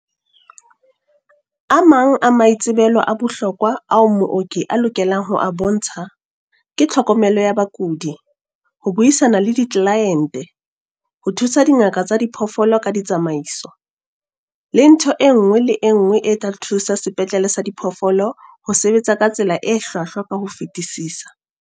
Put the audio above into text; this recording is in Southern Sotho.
A mang a maitsebelo a bohlokwa ao mooki a lokelang ho a bontsha ke tlhokomelo ya bakudi, ho buisana le ditlelaente, ho thusa dingaka tsa diphoofolo ka ditsamaiso, le ntho e nngwe le e nngwe e tla thusa sepetlele sa diphoofolo ho sebetsa ka tsela e hlwahlwa ka ho fetisisa.